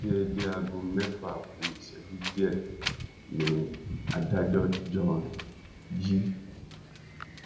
déédé aago mẹ́fà ku ìṣẹ́jú díẹ̀ ni adájọ́ john g